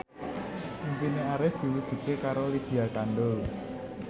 impine Arif diwujudke karo Lydia Kandou